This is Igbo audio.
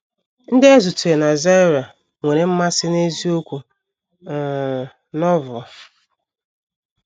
Ndị anyị zutere na Zaire nwere mmasị n’eziokwu um Novel